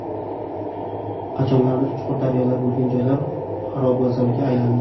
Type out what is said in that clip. Qachonlardir chuqur daryolar bo‘lgan joylar xarobazorga aylandi.